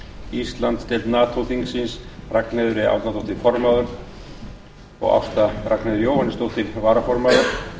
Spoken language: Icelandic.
íslandsdeild nato þingsins ragnheiður e árnadóttir formaður og ásta ragnheiður jóhannesdóttir varaformaður